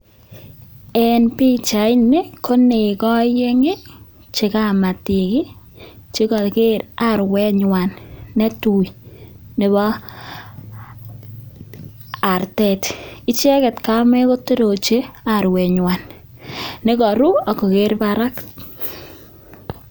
en pichait ni ko negoo aeng che kamatik che kaker arwet ngwai netui nebo artet ,icheget kamet kotoroche arwengwai ne karu ak koker barak